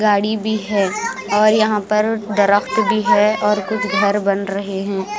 गाड़ी भी है और यहां पर डरप्ट भी है और कुछ घर बन रहे हैं।